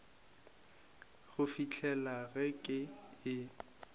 go fihlela ge ke e